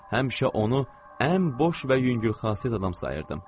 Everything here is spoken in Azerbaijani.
Həmişə onu ən boş və yüngül xasiyyət adam sayırdım.